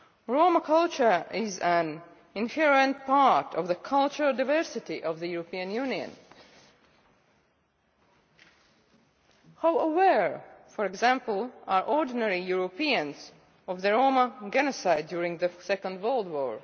Roma culture is an inherent part of the cultural diversity of the European Union. How aware, for example, are ordinary Europeans of the Roma genocide during the Second World War?